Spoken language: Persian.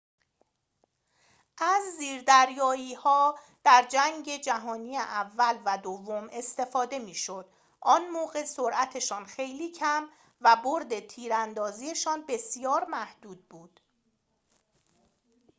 از زیردریایی‌ها در جنگ جهانی اول و دوم استفاده می‌شد آن موقع سرعتشان خیلی کم و بُرد تیراندازی‌شان بسیار محدود بود